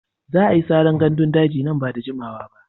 Za a yi saran gandun daji nan ba da jimawa ba.